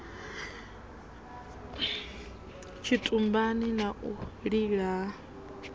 tshitumbani na u lila ha